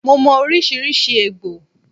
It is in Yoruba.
Mo mò oríṣiríṣi egbò